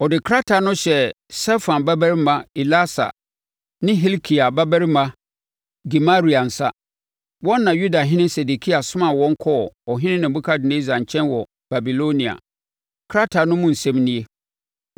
Ɔde krataa no hyɛɛ Safan babarima Elasa ne Hilkia babarima Gemaria nsa, wɔn na Yudahene Sedekia somaa wɔn kɔɔ Ɔhene Nebukadnessar nkyɛn wɔ Babilonia. Krataa no mu nsɛm nie: